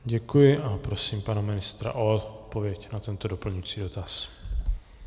Děkuji a prosím pana ministra o odpověď na tento doplňující dotaz.